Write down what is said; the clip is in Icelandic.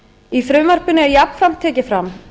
í frumvarpinu er jafnframt tekið fram